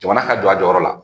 Jamana ka jɔ a jɔyɔrɔ la